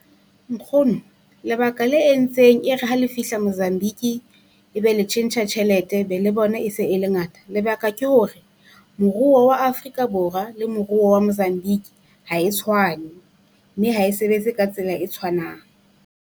Nkgono, lebaka la entseng e re ha le fihla Mozambique e be le tjhentjha tjhelete be le bona e se e le ngata. Lebaka ke hore, moruo wa Afrika Borwa le moruo wa Mozambique ha e tshwane, mme ha e sebetse ka tsela e tshwanang.